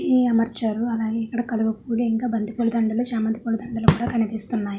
అన్ని అమర్చారు అలాగే ఇక్కడ కలువ పూల ఇంకా బంతిపూల దండలు చామంతి పూల దండలు కూడా కనిపిస్తున్నాయి.